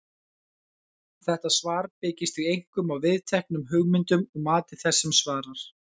Þetta svar byggist því einkum á viðteknum hugmyndum og mati þess sem svarar.